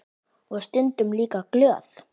Og stundum líka glöð.